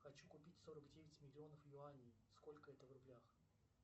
хочу купить сорок девять миллионов юаней сколько это в рублях